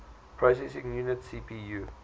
processing unit cpu